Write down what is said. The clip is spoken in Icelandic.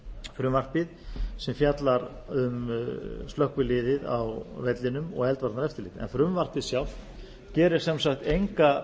frumvarpið sem fjallar um slökkviliðið á vellinum og eldvarnaeftirlit frumvarpið sjálft gerir sem sagt enga